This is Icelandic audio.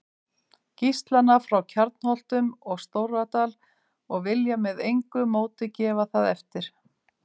Gíslana frá Kjarnholtum og Stóradal og vilja með engu móti gefa það eftir.